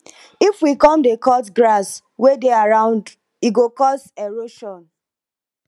if we come dey cut trees wey dey around e go cos erosion